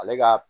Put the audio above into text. Ale ka